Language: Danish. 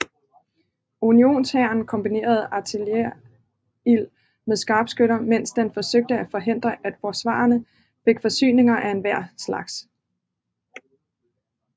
Unionshæren kombinerede artilleriild med skarpskytter mens den forsøgte at forhindre at forsvarerne fik forsyninger af enhver slags